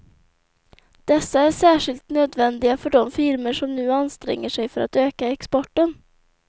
Dessa är särskilt nödvändiga för de firmor som nu anstränger sig för att öka exporten.